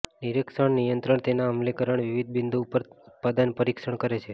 નિરીક્ષણ નિયંત્રણ તેના અમલીકરણ વિવિધ બિંદુઓ પર ઉત્પાદન પરીક્ષણ કરે છે